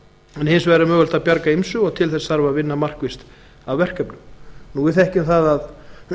hins vegar er mögulegt að bjarga ýmsu og til þess þarf að vinna markvisst að verkefninu við þekkjum það að